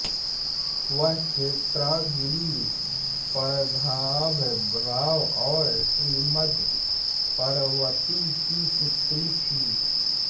वह चेन्नागिरी पद्मनाभ राव और श्रीमती पद्मावती कि पुत्री हैं